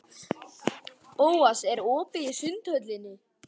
Bóas, er opið í Sundhöllinni?